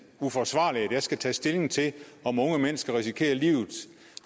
uforsvarligt at jeg skal tage stilling til om unge mennesker risikerer livet